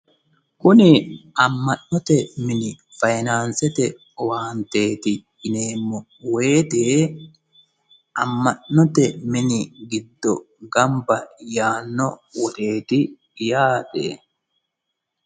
kuni amma'note mini fayiinaansete owaanteeti yineemmo wote amma'note mini giddo gamba yaanno woxeeti yaate.